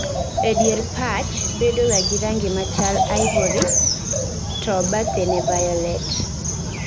Ee dier patch bedoga gi rangi machal ivory to bathene violet